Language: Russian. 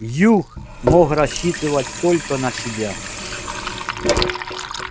юг мог рассчитывать только на себя